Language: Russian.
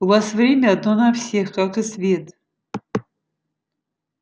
у вас время одно на всех как и свет